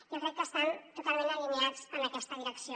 jo crec que estan totalment alineats en aquesta direcció